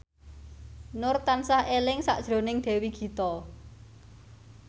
Nur tansah eling sakjroning Dewi Gita